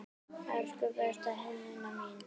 Elsku besta Helena mín.